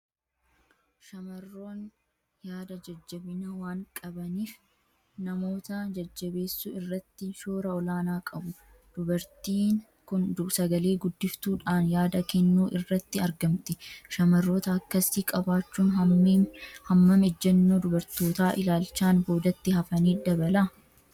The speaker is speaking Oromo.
Shamarroonni yaada jajjabinaa waan qabaniif, namoota jajjabeessuu irratti shoora olaanaa qabu. Dubartiin kun sagalee guddiftuu dhaan yaada kennuu irratti argamti. Shamarroota akkasii qabaachuun hammam ejjennoo dubartoota ilaalchaan boodatti hafanii dabala?